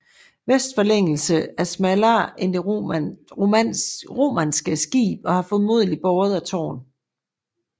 Vestforlængelsen er smallere end det romanske skib og har formodentlig båret et tårn